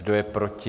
Kdo je proti?